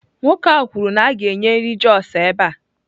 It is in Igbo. Nwoke ahụ kwuru na a ga-enye nri Jos ebe a.